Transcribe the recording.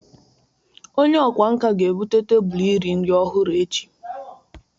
Onye ọkwá nkà ga-ebute tebụl iri nri ọhụrụ echi.